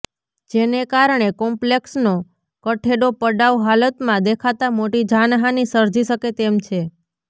જેને કારણે કોપ્લેક્ષનો કઠેડો પડાઉ હાલતમાં દેખાતા મોટી જાનહાની સર્જી શકે તેમ છે